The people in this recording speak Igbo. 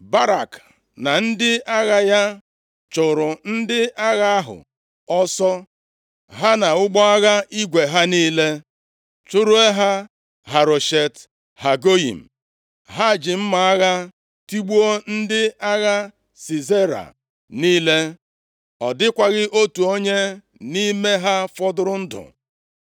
Barak na ndị agha ya chụrụ ndị agha ahụ ọsọ, ha na ụgbọ agha igwe ha niile, chụruo ha Haroshet Hagoyim. Ha ji mma agha tigbuo ndị agha Sisera niile. Ọ dịkwaghị otu onye nʼime ha fọdụrụ ndụ.